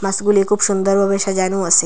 মাসগুলি খুব সুন্দর ভাবে সাজানো আসে।